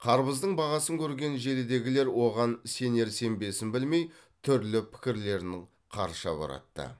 қарбыздың бағасын көрген желідегілер оған сенер сенбесін білмей түрлі пікірлерін қарша боратты